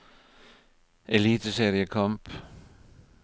eliteseriekamp